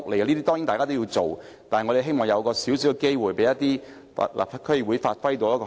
這些當然也是要做的，但我們希望有機會讓區議會發揮功能。